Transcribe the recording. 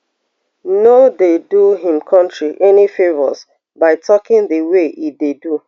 no dey do im country any favours by talking di way e dey do